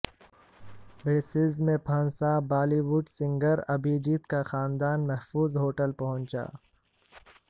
Brussels میں پھنسا Bollywood singer Abhijeet کا خاندان محفوظ ہوٹل پہنچا